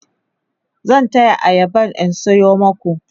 zan taya ayaba in sayo maku